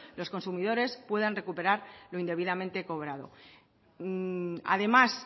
los consumidores puedan recuperar lo indebidamente cobrado además